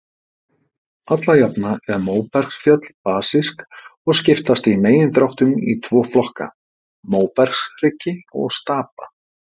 Alla jafna eru móbergsfjöll basísk og skiptast í megindráttum í tvo flokka, móbergshryggi og stapa.